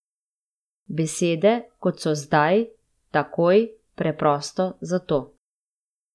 Besede, kot so zdaj, takoj, preprosto, zato.